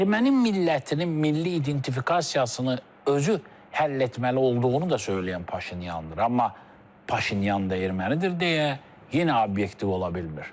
Erməni millətinin milli identifikasiyasını özü həll etməli olduğunu da söyləyən Paşinyandır, amma Paşinyan da ermənidir deyə yenə obyektiv ola bilmir.